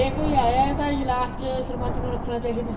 ਜੇ ਕੋਈ ਆਇਆ ਤਾਂ last ਸਰਪੰਚ ਨੂੰ ਰੱਖਣਾ ਚਾਹੀਦਾ ਹੈ